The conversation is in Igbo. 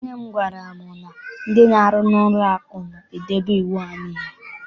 Nne m gwara m na ndị na-aru n'ụlọ akụ na-edebe iwu ha niile.